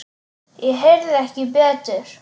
Ég heyrði ekki betur.